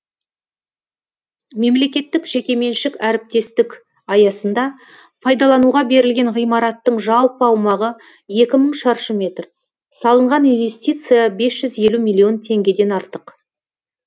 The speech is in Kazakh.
мемлекеттік жекеменшік әріптестік аясында пайдалануға берілген ғимараттың жалпы аумағы екі мың шаршы метр салынған инвестиция бес жүз елу миллион теңгеден артық